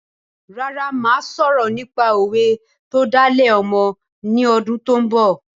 Rárá mo má sọ̀rọ̀ nípa òwe tó dá lé ọmọ ni ọdún tó ń bọ̀